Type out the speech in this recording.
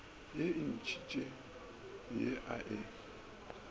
ye ntšintši ye a e